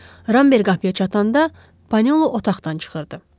Ramber qapıya çatanda Panelu otaqdan çıxırdı.